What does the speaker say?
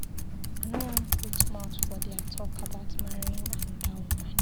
I no wan put mouth for their talk about marrying another woman.